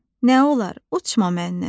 Nə olar uçma məndən.